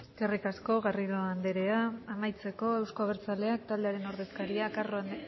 eskerrik asko garrido anderea amaitzeko euzko abertzaleak taldearen ordezkaria carro